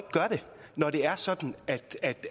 når det er sådan